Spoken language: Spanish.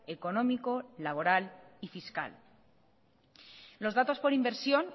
económico laboral y fiscal los datos por inversión